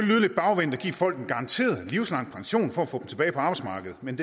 lyde lidt bagvendt at give folk en garanteret livslang pension for at få tilbage på arbejdsmarkedet men